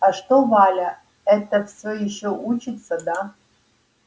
а что валя эта всё ещё учится да